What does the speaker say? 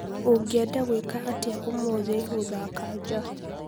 Ũngĩenda gwĩka atĩa ũmũthĩ gũthaaka nja